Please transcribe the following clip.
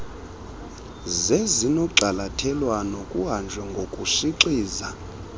zezinogxalathelwano kuhanjwe ngokushixiza